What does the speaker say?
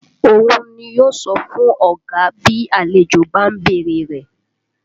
Òun ni yó sọ fún ọ̀gá bí àlejò bá ń bèrè rẹ̀